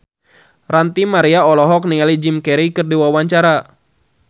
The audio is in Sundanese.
Ranty Maria olohok ningali Jim Carey keur diwawancara